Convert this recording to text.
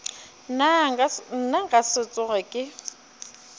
nna nka se tsoge ke